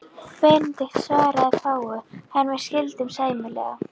Benedikt svaraði fáu, en við skildum sæmilega.